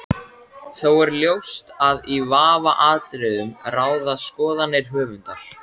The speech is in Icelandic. Þó er ljóst að í vafaatriðum ráða skoðanir höfundar.